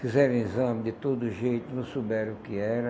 Fizeram exame de todo jeito, não souberam o que era.